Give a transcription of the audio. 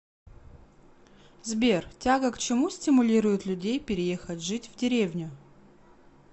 сбер тяга к чему стимулирует людей переехать жить в деревню